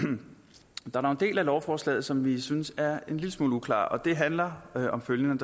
der er dog en del af lovforslaget som vi synes er en lille smule uklar det handler om følgende